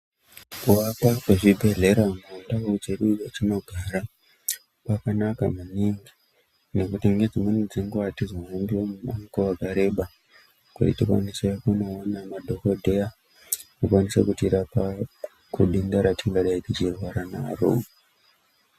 Kuakwa kwezvibhedhlera munzvimbo dzedu dzatinogara kwakanaka maningi ngekuti ngedzimweni dzenguwa atizohambi mumango wakareba kuti tikwanise kunoona madhokodheya kuti akwanise kutirapa kudenda ratingadai tichirwara naro